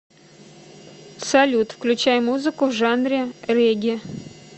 салют включай музыку в жанре регги